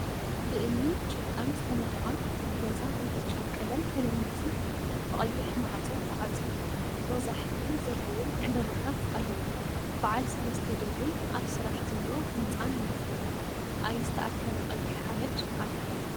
ብእምኒን ጭቃን ዝተነደቀ ገዛ ብብጫ ቀለም ተለሚፁ ቅ። ብቀይሕ ማዕጾ ተዓፅዩ ሮዛ ሕብሪ ዘለዎም ዕምበባታት ኣለው። በዓል ሰለስተ ደብሪ ኣብ ስራሕ ዘሎ ህንፃን ይርከቡ። ኣይ ዝተኣከበ ቀይሕ ሓመድ ኣሎ።